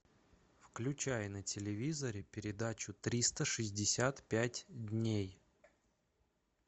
включай на телевизоре передачу триста шестьдесят пять дней